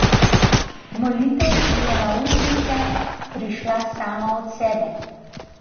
Molitev ji je na ustnice prišla sama od sebe.